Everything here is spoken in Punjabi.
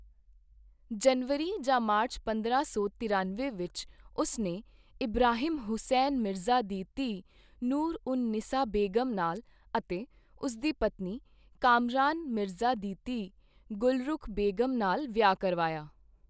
ਜਨਵਰੀ ਜਾਂ ਮਾਰਚ ਪੰਦਰਾਂ ਸੌ ਤਰਿਅਨਵੇਂ ਵਿੱਚ, ਉਸ ਨੇ ਇਬਰਾਹਿਮ ਹੁਸੈਨ ਮਿਰਜ਼ਾ ਦੀ ਧੀ ਨੂਰ ਉਨ ਨਿਸਾ ਬੇਗਮ ਨਾਲ ਅਤੇ ਉਸਦੀ ਪਤਨੀ, ਕਾਮਰਾਨ ਮਿਰਜ਼ਾ ਦੀ ਧੀ ਗੁਲਰੁਖ ਬੇਗਮ ਨਾਲ ਵਿਆਹ ਕਰਵਾਇਆ।